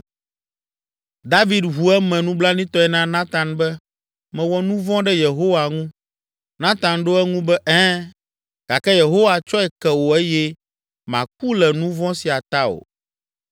David ʋu eme nublanuitɔe na Natan be, “Mewɔ nu vɔ̃ ɖe Yehowa ŋu.” Natan ɖo eŋu be, “Ɛ̃, gake Yehowa tsɔe ke wò eye màku le nu vɔ̃ sia ta o